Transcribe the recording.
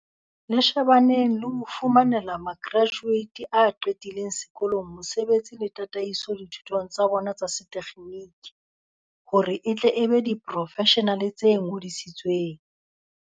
Le shebaneng le ho fumanela ma kerajuate a qetileng sekolong mosebetsi le tataiso dithutong tsa bona tsa setekgeniki hore e tle e be diporofeshenale tse ngodisitsweng.